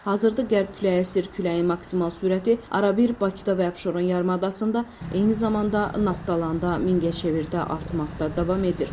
Hazırda qərb küləyi əsir, küləyin maksimal sürəti arabir Bakıda və Abşeron yarımadasında, eyni zamanda Naftalanda, Mingəçevirdə artmaqda davam edir.